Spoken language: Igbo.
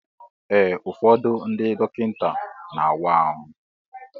Ee ụfọdụ ndị dọkịta na awa ahụ.